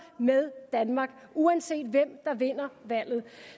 med danmark uanset hvem der vinder valget